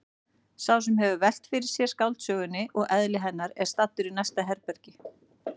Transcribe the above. Sá sem hefur velt fyrir sér skáldsögunni og eðli hennar er staddur í næsta herbergi.